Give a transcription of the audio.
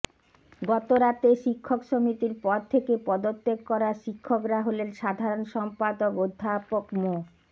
গত রাতে শিক্ষক সমিতির পদ থেকে পদত্যাগ করা শিক্ষকরা হলেন সাধারণ সম্পাদক অধ্যাপক মো